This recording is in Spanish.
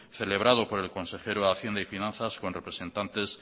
celebrado por el consejero de hacienda y finanzas con representantes